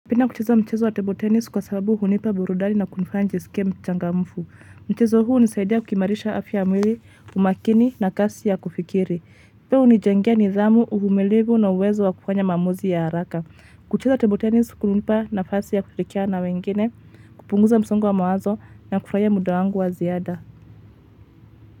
Napenda kucheza mchezo wa table tennis kwa sababu hunipa burudani na kunifanya nijisikie mchangamfu. Mchezo huu hunisaidia kuimarisha afya mwili, umakini na kasi ya kufikiri. Pia unijengea nidhamu, uvumilivu na uwezo wa kufanya maamuzi ya haraka. Kucheza table tennis, kumenipa nafasi ya kufikia na wengine, kupunguza msongo wa mawazo na kufanya muda wangu wa ziada.